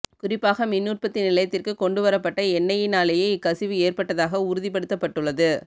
குறிப்பாக மின் உற்த்தி நிலையத்திற்கு கொண்டு வரப்பட்ட எண்ணையினாலேயே இக்கசிவு ஏற்பட்டதாக உறுதிப்படுத்தப்பட்டள்ளது